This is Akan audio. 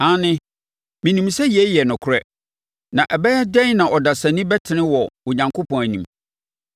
“Aane, menim sɛ yei yɛ nokorɛ. Na ɛbɛyɛ dɛn na ɔdasani bɛtene wɔ Onyankopɔn anim?